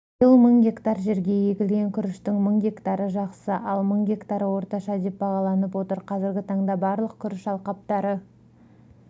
биыл мың гектар жерге егілген күріштің мың гектары жақсы ал мың гектары орташа деп бағаланып отыр қазіргі таңда барлық күріш алқаптары